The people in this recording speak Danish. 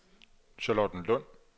Charlottenlund